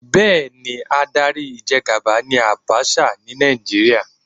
Bẹ́ẹ̀ni, adarí ìjẹgàba ni Àbaṣà ni Nàìjíríà